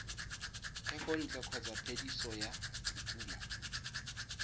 thekontle kgotsa phetiso ya dikumo